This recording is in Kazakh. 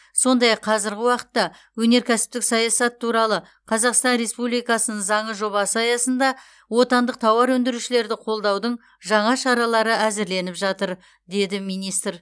сондай ақ қазіргі уақытта өнеркәсіптік саясат туралы қазақстан республикасының заңы жобасы аясында отандық тауар өндірушілерді қолдаудың жаңа шаралары әзірленіп жатыр деді министр